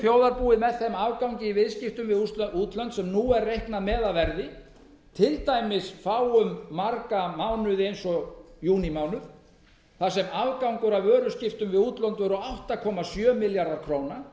þjóðarbúið með þeim afgangi í viðskiptum við útlönd sem nú er reiknað með að verði til dæmis fáum marga mánuði eins og júnímánuð þar sem afgangur af vöruskiptum við útlönd voru átta komma sjö milljarðar króna